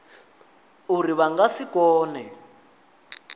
uri vha nga si kone